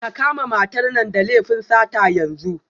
Ka kama matar nan da laifin sata yanzu